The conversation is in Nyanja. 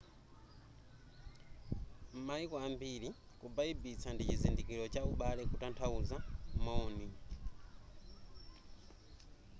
m'maiko ambiri kubaibitsa ndi chizindikilo cha ubale kutanthauza moni